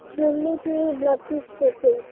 বললো তো blood test করতে